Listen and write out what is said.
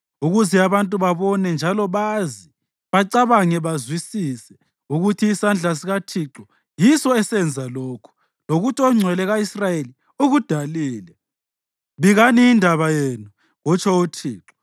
ukuze abantu babone njalo bazi, bacabange bazwisise ukuthi isandla sikaThixo yiso esenza lokhu, lokuthi oNgcwele ka-Israyeli ukudalile.